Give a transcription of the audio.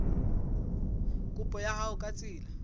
kopo ya hao ka tsela